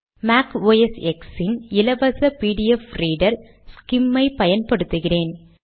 make OS X இன் இலவச pdfரீடர் ஸ்கிம் ஐ பயன்படுத்துகிறேன்